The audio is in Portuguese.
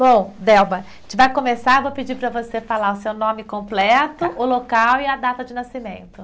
Bom, Delba, a gente vai começar, vou pedir para você falar o seu nome completo, o local e a data de nascimento.